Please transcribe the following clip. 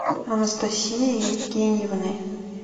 анастасией евгеньевной